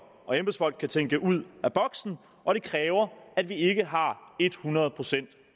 og embedsfolk kan tænke ud af boksen og det kræver at vi ikke har ethundrede procent